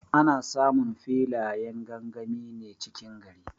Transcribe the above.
Ana samun filayen gangami ne cikin gari.